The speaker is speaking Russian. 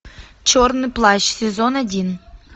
черный плащ сезон один